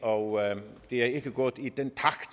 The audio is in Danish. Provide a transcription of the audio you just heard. og det er ikke gået i den takt